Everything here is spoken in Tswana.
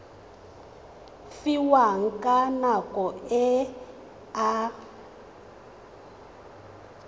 fiwang ka nako e a